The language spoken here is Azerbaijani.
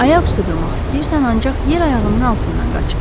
Ayaq üstə durmaq istəyirsən ancaq yer ayağının altından qaçır.